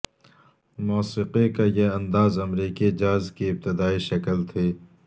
موسیقی کا یہ انداز امریکی جاز کی ابتدائی شکل تھی